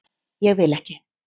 Ég vil ekki.